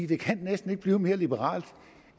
det kan næsten ikke blive mere liberalt